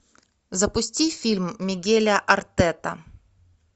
запусти фильм мигеля артета